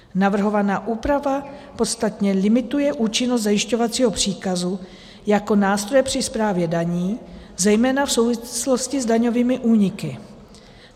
Navrhovaná úprava podstatně limituje účinnost zajišťovacího příkazu jako nástroje při správě daní, zejména v souvislosti s daňovými úniky.